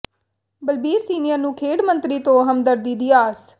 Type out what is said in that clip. Balbir senior ਨੂੰ ਖੇਡ ਮੰਤਰੀ ਤੋਂ ਹਮਦਰਦੀ ਦੀ ਆਸ